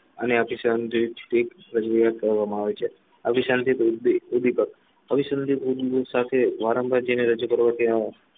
સુધીપક સાથે વારંવાર જેને રજૂ કરવા અને હસુસા આવે છે અભિશાથી સાંજે સુધી પક્ષ સાથે વારંવાર જેને રજુ કરવા આવે